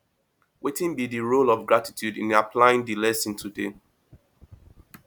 wetin be di role of gratitude in applying di lesson today